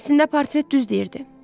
Əslində portret düz deyirdi.